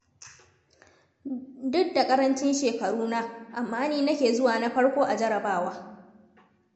Duk da ƙarancin shekaruna, amma ni nake zuwa na farko a jarrabawa.